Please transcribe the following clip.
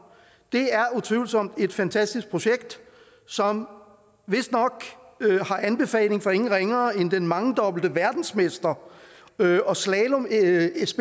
det er utvivlsomt et fantastisk projekt som vistnok har anbefaling fra ingen ringere end den mangedobbelte verdensmester og slalomspecialist